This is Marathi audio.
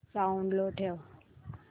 साऊंड लो ठेव